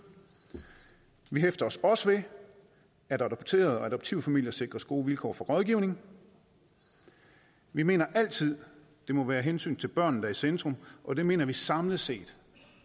vi hæfter os også ved at adopterede og adoptivfamilier sikres gode vilkår for rådgivning vi mener altid at det må være hensynet til børnene der er i centrum og det mener vi samlet set